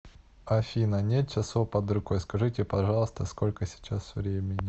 афина нет часов под рукой скажите пожалуйста сколько сейчас времени